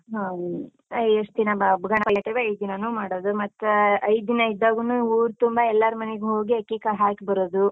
ಹಾ ರಿ ಎಷ್ಟ್ ದಿನ ಗಣಪನ್ ಇಡ್ತೀವಿ ಐದ್ ದಿನಾನೂ ಮಾಡೋದು, ಮತ್ತಾ ಐದ್ ದಿನ ಇದ್ದಾಗೂನೂ ಊರ್ತುಂಬಾ ಎಲ್ಲಾರ್ ಮನೆಗೂ ಹೋಗಿ, ಅಕ್ಕಿಕಾಳ್ ಹಾಕಿ ಬರೋದು.